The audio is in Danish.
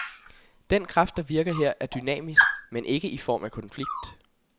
Den kraft, der virker her, er dynamisk, men ikke i form af konflikt.